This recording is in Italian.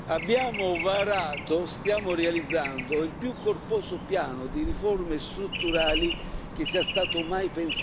Abbiamo varato, stiamo realizzando, il più corposo piano di riforme strutturali che sia stato mai